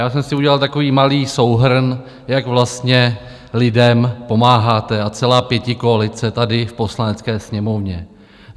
Já jsem si udělal takový malý souhrn, jak vlastně lidem pomáháte, a celá pětikoalice tady v Poslanecké sněmovně.